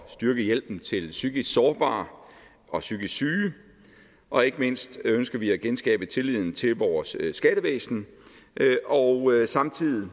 styrke hjælpen til psykisk sårbare og psykisk syge og ikke mindst ønsker vi at genskabe tilliden til vores skattevæsen og samtidig